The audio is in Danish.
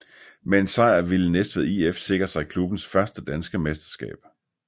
Med en sejr ville Næstved IF sikre sig klubbens første danske mesterskab